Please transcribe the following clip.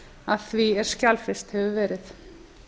að því er skjalfest hefur verið